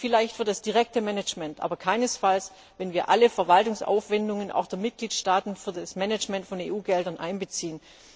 Sie gelten vielleicht für das direkte Management, aber keinesfalls, wenn wir alle Verwaltungsaufwendungen, auch der Mitgliedstaaten, für das Management von EU Geldern einbeziehen.